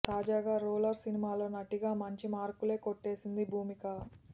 తాజాగా రూలర్ సినిమాలో నటిగా మంచి మార్కులే కొట్టేసింది భూమిక